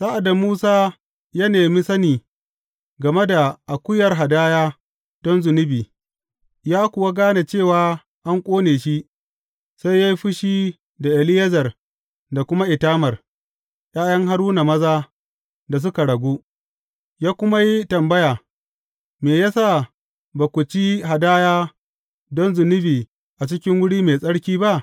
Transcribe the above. Sa’ad da Musa ya nemi sani game da akuyar hadaya don zunubi, ya kuwa gane cewa an ƙone shi, sai ya yi fushi da Eleyazar da kuma Itamar, ’ya’yan Haruna maza da suka ragu, ya kuma yi tambaya, Me ya sa ba ku ci hadaya don zunubi a cikin wuri mai tsarki ba?